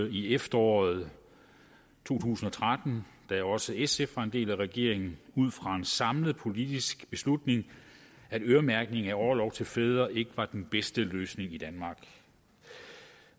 i efteråret to tusind og tretten da også sf var en del af regeringen ud fra en samlet politisk beslutning at øremærkning af orlov til fædre ikke var den bedste løsning i danmark